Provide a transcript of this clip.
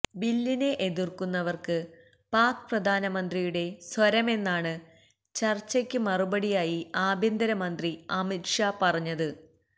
ബില്ലിനെ എതിര്ക്കുന്നവര്ക്ക് പാക് പ്രധാനമന്ത്രിയുടെ സ്വരമെന്നാണ് ചര്ച്ചക്ക് മറുപടിയായി ആഭ്യന്തരമന്ത്രി അമിത്ഷാ പറഞ്ഞത്